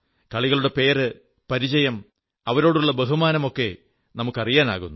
കളികളുടെ പേര് പരിചയം അവരോടുള്ള ബഹുമാനം ഒക്കെ നമുക്ക് അറിയാനാകുന്നു